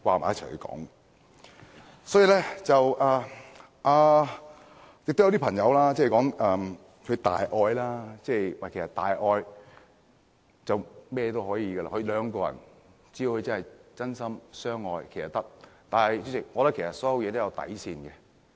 也有一些人提到大愛，有大愛就甚麼都可以，兩個人只要真心相愛就是可以的，但主席，其實所有事情都有底線。